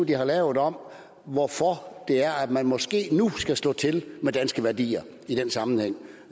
de har lavet om hvorfor det er at man måske nu skal slå til med danske værdier i den sammenhæng